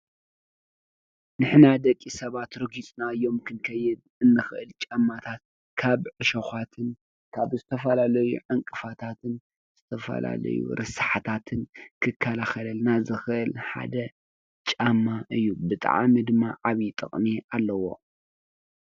ንሕና ደቂ ሰባት ረጊፅናዮም ክንከይድ እንኽእል ጫማታት ካብ ዕሾኻትን ካብ ዝተፈላለዩ ዕንቅፋታትን ዝተፈላለዩ ርሳሓታትን ክከላኸለልና ዝኽእል ሓደ ጫማ እዩ፡፡ ብጣዕሚ ድማ ዓብይ ጥቕሚ ኣለዎ፡፡